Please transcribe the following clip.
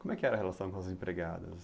Como é que era a relação com as empregadas?